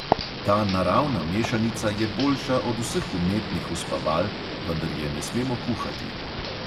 Ta naravna mešanica je boljša od vseh umetnih uspaval, vendar je ne smemo kuhati.